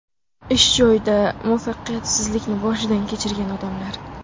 Ish joyida muvaffaqiyatsizlikni boshidan kechirgan odamlar .